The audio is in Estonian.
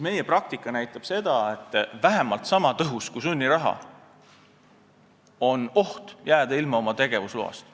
Meie praktika näitab, et vähemalt niisama tõhus kui sunniraha on oht jääda ilma tegevusloast.